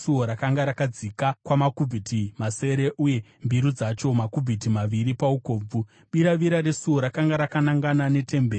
rakanga rakadzika kwamakubhiti masere uye mbiru dzacho makubhiti maviri paukobvu. Biravira resuo rakanga rakanangana netemberi.